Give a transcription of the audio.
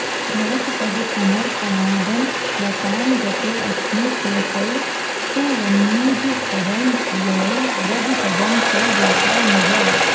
भवत्पदसमर्पणादमलतां गतोऽस्मीत्यसौ स्तुवन्निजपदं ययौ व्रजपदं च गोपा मुदा